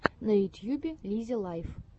в ютьюбе лиззи лайф